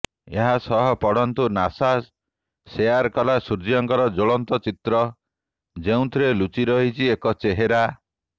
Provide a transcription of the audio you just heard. ଏହାସହ ପଢନ୍ତୁ ନାସା ସେୟାର କଲା ସୂର୍ଯ୍ୟଙ୍କର ଜ୍ୱଳନ୍ତ ଚିତ୍ର ଯେଉଁଥିରେ ଲୁଚି ରହିଛି ଏକ ଚେହେରା